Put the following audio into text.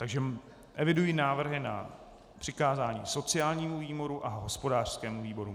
Takže evidují návrhy na přikázání sociálnímu výboru a hospodářskému výboru.